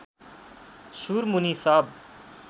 सुरमुनि सब